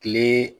Kile